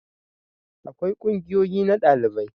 akwai ƙungiyoyi na dalibai